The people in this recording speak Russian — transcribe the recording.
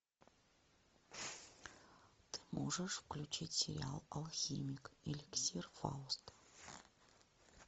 ты можешь включить сериал алхимик эликсир фауста